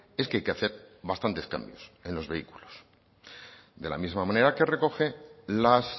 es que hay que hacer bastantes cambios en los vehículos de la misma manera que recoge las